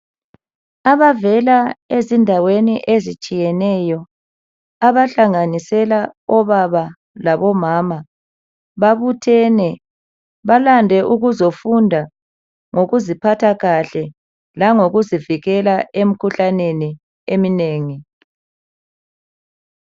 Abavela ezindaweni ezitshiyeneyo abahlanganisela obaba labomama, babuthene. Balande ukuzofunda ngokuziphatha kahle langokuzivikela emikhuhlaneni eminengi.